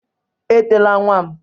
Etela nwa m.